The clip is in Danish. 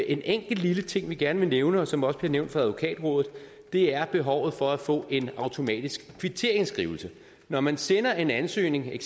en enkelt lille ting som vi gerne vil nævne og som også er blevet nævnt af advokatrådet og det er behovet for at få en automatisk kvitteringsskrivelse når man sender en ansøgning